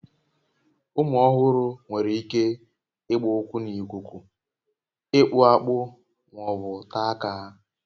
Ụmụ ọhụrụ nwere ike ịgba ụkwụ n'ikuku, ịkpụ akpụ ma ọ bụ taa aka ha